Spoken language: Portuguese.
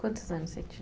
Quantos anos você tinha?